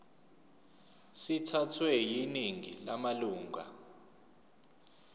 sithathwe yiningi lamalunga